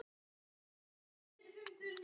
Hvað gerði ég?